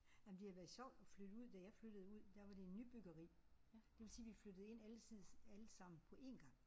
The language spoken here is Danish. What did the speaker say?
Nej men det har været sjovt at flytte ud da jeg flyttede ud der var det en nybyggeri. Det vil sige vi flyttede ind alsides allesammen på en gang